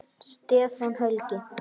Stefán Helgi.